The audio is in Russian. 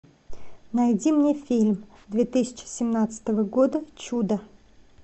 найди мне фильм две тысячи семнадцатого года чудо